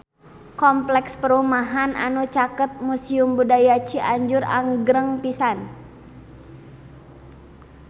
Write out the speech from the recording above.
Kompleks perumahan anu caket Museum Budaya Cianjur agreng pisan